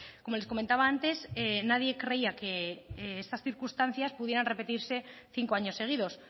como les comentaba antes nadie creía que estas circunstancias pudieran repetirse cinco años seguidos